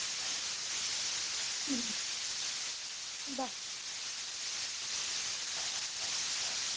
হম বাহ্